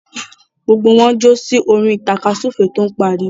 Gbogbo wọn ń jó sí orin tàkasúfèé tó ń pariwo.